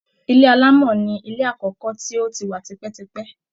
Ilé alámọ̀ ni ilé àkọ́kọ́ tó ti wa tipẹ́tipẹ́